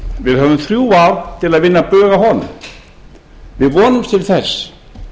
við höfum þrjú ár til að vinna bug á honum við vonumst til þess